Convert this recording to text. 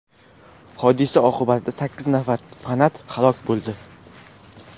Hodisa oqibatida sakkiz nafar fanat halok bo‘ldi.